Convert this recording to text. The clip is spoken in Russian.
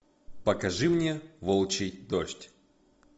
покажи мне волчий дождь